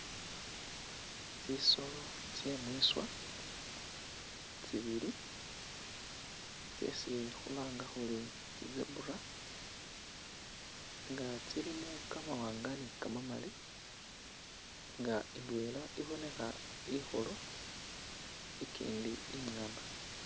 Tsisoolo tse mwiswa tsibili tsesi khulanga khuri tsi'zebra nga tsilimo kamawanga ni kamamali nga indwela ibonekha ikhulu ikindi ingana